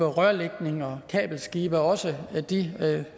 rørlægnings og kabelskibe og også de